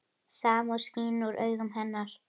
Samúð skín úr augum hennar.